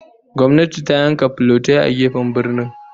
Gwamnati ta yanka filotai a gefen birnin